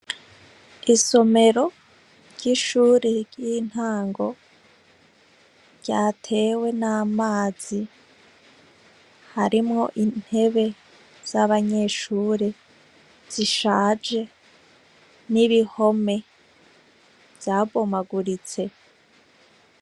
Isomero ry’ishuri y’intango ryatewe n’amazi , harimwo intebe z’abanyeshure, zishaje n’ibihome vyabomaguritse.